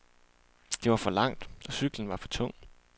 Det var for langt, og cyklen var for tung.